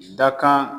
Dakan